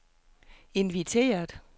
inviteret